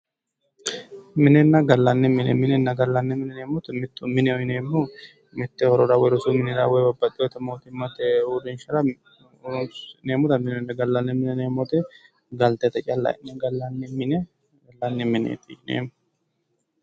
Minenna gallani mine, minenna gallanni mine ynneemmo woyte mitu mineho yinneemmohu duucha horora gallate woyi mootimmate urrinshara horonsi'neemmotta mineho, gallanni mine yinneemmo woyte galtete calla galate horonsi'neemmoha gallani mineti yinneemmo